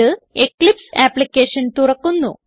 ഇത് Eclipse application തുറക്കുന്നു